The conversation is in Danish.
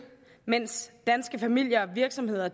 mens danske familier og virksomheder